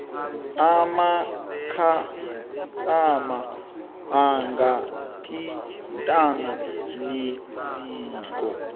amakhastama angathintana neziko